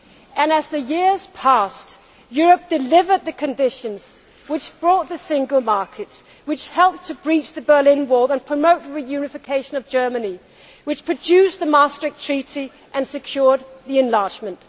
And, as the years passed, Europe delivered the conditions which brought the Single Market, which helped to breach the Berlin Wall and promote the reunification of Germany, which produced the Maastricht Treaty and secured European enlargement.